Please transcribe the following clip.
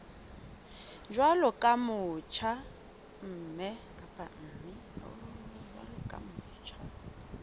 jwalo ka o motjha mme